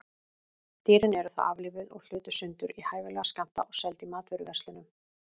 Dýrin eru þá aflífuð og hlutuð sundur í hæfilega skammta og seld í matvöruverslunum.